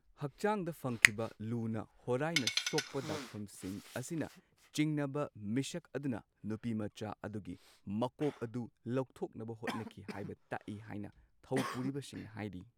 ꯍꯛꯆꯥꯡꯗ ꯐꯪꯈꯤꯕ ꯂꯨꯅ ꯍꯣꯔꯥꯏꯅ ꯁꯣꯛꯄ ꯗꯥꯛꯐꯝꯁꯤꯡ ꯑꯁꯤꯅ ꯆꯤꯡꯅꯕ ꯃꯤꯁꯛ ꯑꯗꯨꯅ ꯅꯨꯄꯤꯃꯆꯥ ꯑꯗꯨꯒꯤ ꯃꯀꯣꯛ ꯑꯗꯨ ꯂꯧꯊꯣꯛꯅꯕ ꯍꯣꯠꯅꯈꯤ ꯇꯥꯛꯢ ꯇꯥꯀꯏ ꯍꯥꯏꯅ ꯊꯧꯄꯨꯔꯤꯕꯁꯤꯡꯅ ꯍꯥꯏꯔꯤ꯫